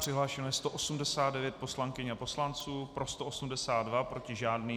Přihlášeno je 189 poslankyň a poslanců, pro 182, proti žádný.